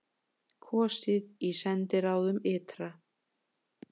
Kosið í sendiráðum ytra